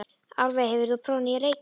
Álfey, hefur þú prófað nýja leikinn?